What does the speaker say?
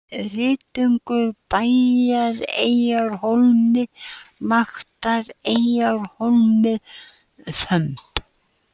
Rýtingur, Bæjareyjarhólmi, Vaktareyjarhólmi, Þömb